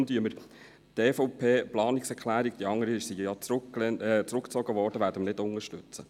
Deshalb werden wir die Planungserklärung der EVP – die andere wurde ja zurückgezogen – nicht unterstützen.